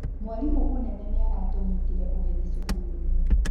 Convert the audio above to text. Mwarimũ mũnene nĩaratũnyitire ũgeni cukuru-inĩ